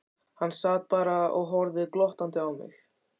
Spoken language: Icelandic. Hann sat bara og horfði glottandi á mig.